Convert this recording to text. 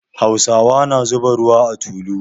Hausawa na zuba ruwa a tulu.